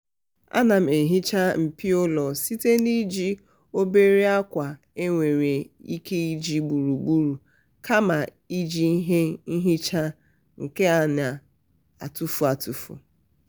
ana m ehiicha mpio ụlọ site n'iji obere akwa e nwere ike iji ugboro ugboro kama iji ihe nhicha nke a na-etufu etufu.